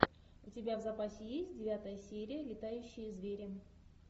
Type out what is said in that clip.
у тебя в запасе есть девятая серия летающие звери